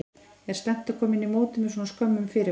Er slæmt að koma inn í mótið með svona skömmum fyrirvara?